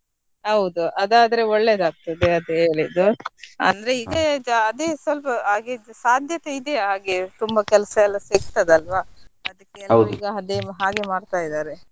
ಹೌದು ಅದಾದ್ರೆ ಒಳ್ಳೇದ್ ಆಗ್ತದೆ ಅದೇ ಹೇಳಿದ್ದು ಅಂದ್ರೆ ಇದೇ ಅದೇ ಸ್ವಲ್ಪ ಹಾಗೆದ್ದು ಸಾಧ್ಯತೆ ಇದೆಯಾ ಹಾಗೆ ತುಂಬಾ ಕೆಲಸ ಎಲ್ಲ ಸಿಕ್ತದ ಅಲ್ವಾ ಅದಕ್ಕೆ ಎಲ್ಲ ಈಗ ಅದೇ ಹಾಗೆ ಮಾಡ್ತಾ ಇದ್ದಾರೆ.